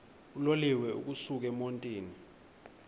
uloliwe ukusuk emontini